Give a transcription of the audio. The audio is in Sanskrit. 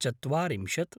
चत्वारिंशत्